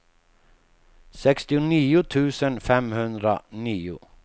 sextionio tusen femhundranio